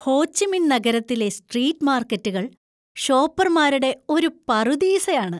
ഹോ Chi Minh നഗരത്തിലെ സ്ട്രീറ്റ് മാർക്കറ്റുകൾ ഷോപ്പർമാരുടെ ഒരു പറുദീസയാണ്.